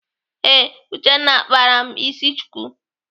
Ee, Uchenna kpara m isi chuku.